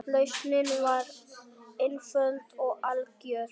Lausnin var einföld og algjör.